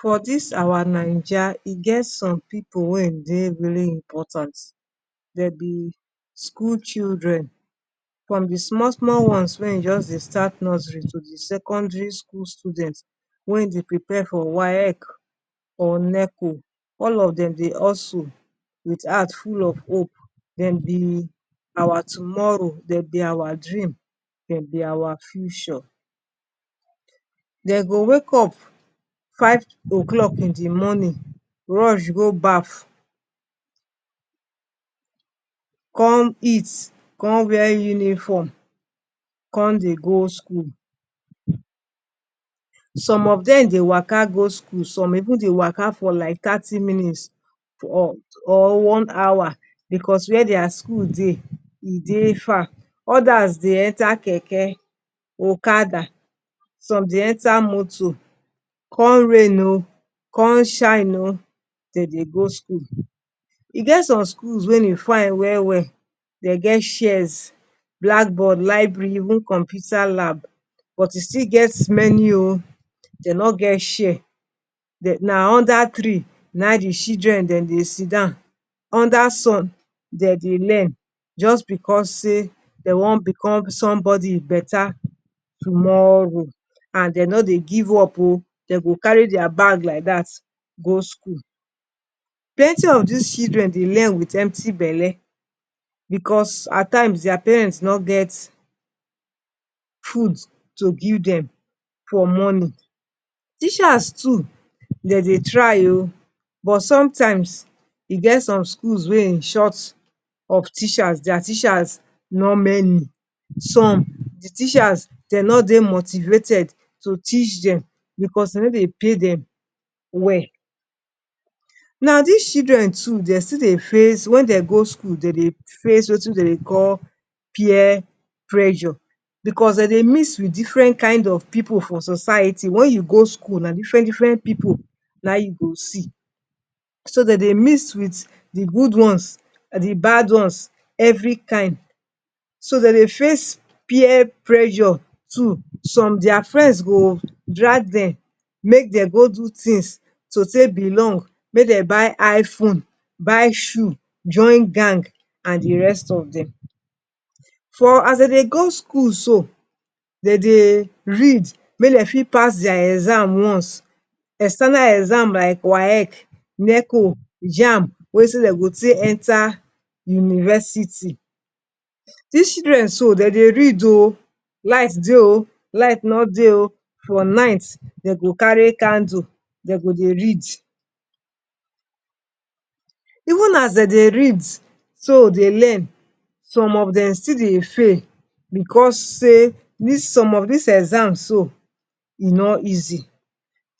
For dis our Naija, e get some pipu wey dey very important, dem be school children. From the small small ones wey dey just dey start nursery to the secondary school students wey e dey prepare tor WAEC or NECO, all of dem dey also, with heart full of hope, dem be our tomorrow. Dem be our dream. Dem be our future. Dem go wake up five oclock in the morning, rush go bath, come eat, con wear uniform, con dey go school. Some of dem dey waka go school. Some even dey do like thirty minutes or one hour because where their school dey, e dey far. Others dey enter keke, okada, some dey enter moto. Come rain oh! Con shine oh! Dem dey go school. E get some schools wey e fine well-well, dey get chairs, blackboard, library, even computers lab. But, e still get many oh, dey no get chair. Na under tree nayin the children dem dey sit down. Under sun, dem dey learn, just because say, dey wan become somebody beta tomorrow. And dem no dey give up oh! Dem go carry their bag like dat go school. Plenty of dis children dey learn with empty belle, because, at times their parents no get food to give dem for morning. Teachers too, dem dey try oh! But sometimes, e get some schools wey e short of teachers. There teachers no many. Some, the teachers, dem no dey motivated to teach dem because, dem no dey pay dem well. Na dis children too dem still dey face, when dey go school, dem dey face wetin dey call peer pressure. Because, dem dey mix with different kind of pipu for society. When you go school, na different different pipu, nayin you go see. So, dey dey mix with the good ones, the bad ones, every kind. So, dey dey face peer pressure too. Some their friends go drag dem, make dem go do things to take belong. Make dem go buy iPhone, buy shoes, join gang and the rest of dem. For, as dey dey go school so, dey dey read make dem fit pass their exams once. External exams like WAEC, NECO, JAMB, wetin dey go take enter university. Dis children so, dem dey read oh! Light dey oh! Light no dey oh! For night, dey go carry candle. Dem go dey read. Even as dey dey read, so dey learn. Some of dem still dey fail because say, some of dis exams so, e no easy.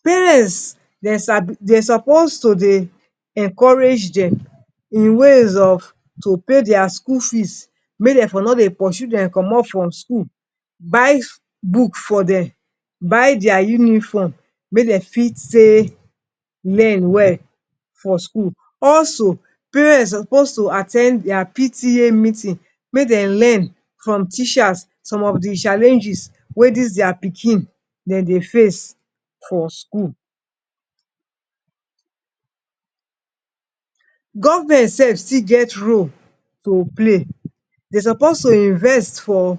Parents, dem suppose to dey encourage dem, in ways of, to pay their school fees, make dem for no dem pursue dem comot for school. Buy book for dem. Buy their uniform, make dem fit take learn well for school. Also, parents suppose to at ten d their PTA meeting, make dem learn from teachers some of the challenges wey dis their pikin dem dey face for school. Government sef still get role to play. Dem suppose to invest for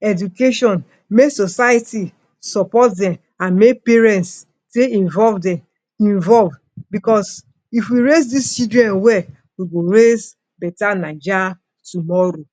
education. Make society support dem and make parents dey involve because, if we raise dis children well, we go raise beta Naija tomorrow.